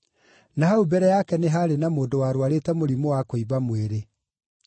Na hau mbere yake nĩ haarĩ na mũndũ warũarĩte mũrimũ wa kũimba mwĩrĩ.